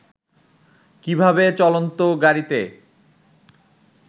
কীভাবে চলন্ত গাড়ীতে